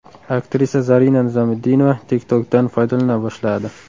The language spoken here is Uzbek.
Aktrisa Zarina Nizomiddinova TikTok’dan foydalana boshladi.